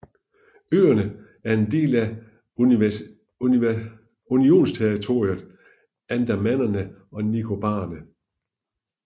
Øerne er en del af unionsterritoriet Andamanerne og Nicobarerne